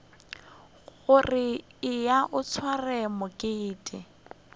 gore eya o sware mokete